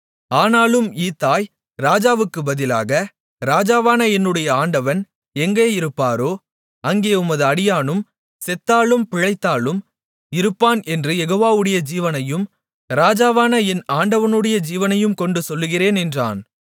ஆனாலும் ஈத்தாய் ராஜாவுக்குப் பதிலாக ராஜாவான என்னுடைய ஆண்டவன் எங்கேயிருப்பாரோ அங்கே உமது அடியானும் செத்தாலும் பிழைத்தாலும் இருப்பான் என்று யெகோவாவுடைய ஜீவனையும் ராஜாவான என் ஆண்டவனுடைய ஜீவனையும் கொண்டு சொல்லுகிறேன் என்றான்